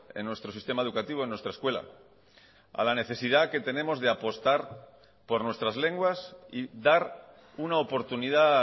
en nuestro sistema educativo en nuestra escuela a la necesidad que tenemos de apostar por nuestras lenguas y dar una oportunidad